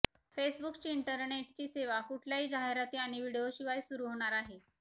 फेसबुकची इंटरनेटची सेवा कुठल्याही जाहिराती आणि व्हिडिओशिवाय सुरू होणार आहे